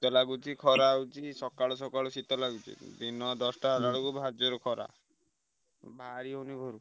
ଶୀତ ଲାଗୁଚି ଖରା ହଉଛି। ସକାଳୁ ସକାଳୁ ଶୀତ ଲାଗୁଚି ଦିନ ଦଶଟା ହେଲାବେଳକୁ ଭାରି ଜୋରେ ଖରା। ବାହାରି ହଉନି ଘରୁ।